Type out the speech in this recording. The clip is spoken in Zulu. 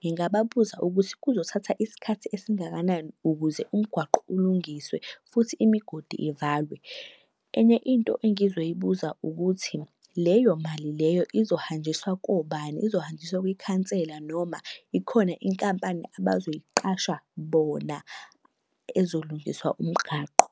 ngingababuza ukuthi kuzothatha isikhathi esingakanani ukuze umgwaqo ulungiswe, futhi imigodi ivalwe? Enye into engizoyibuza ukuthi, leyo mali leyo izohanjiswa kobani? Izohanjiswa kwikhansela noma ikhona inkampani abazoyiqasha bona ezolungisa umgaqo?